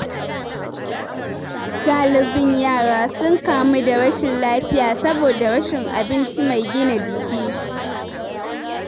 Galibin yaran sun kamu da rashin lafiya saboda rashin abinci mai gina jiki.